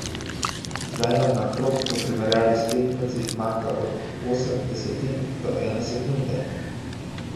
Zdaj nam na krog v primerjavi s tekmeci manjka od osem desetink do ene sekunde.